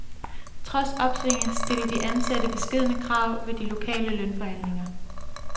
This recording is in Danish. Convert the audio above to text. Trods opsvinget stiller de ansatte beskedne krav ved de lokale lønforhandlinger.